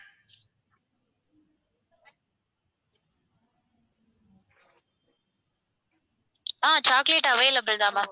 அஹ் chocolate available தான் ma'am